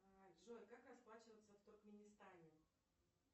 джой как расплачиваться в туркменистане